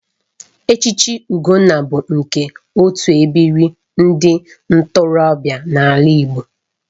Echichi Ugonna bụ nke otu ebiri ndị ntorobịa n'ala Igbo